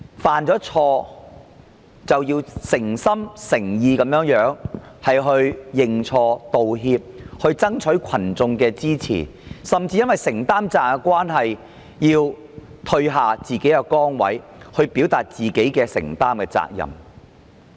犯了錯便要誠心誠意認錯、道歉，並爭取群眾的支持，甚至要退下崗位，以顯示自己的承擔。